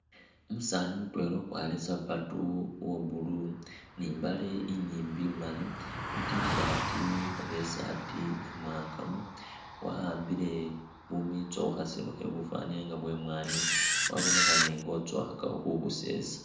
Umusaani mutwela ukwarire sapatu uwo blue ni imbaale inyimbi imali i'tshirt oba isaati imwangamu wa'ambile bumitso mukhaselo khebufwanile nga bwemwani, wabonekhane nga ukhotsokhakakho khubusesa